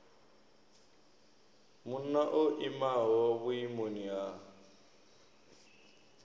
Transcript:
munna o imaho vhuimoni ha